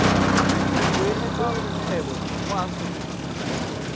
go beeletsa kgwebo mo aforika